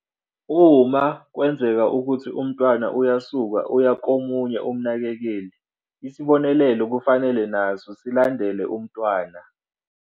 "Uma kwenzeka ukuthi umntwana uyasuka uya komunye umnakekeli, isibonelelo kufanele naso silandele umntwana."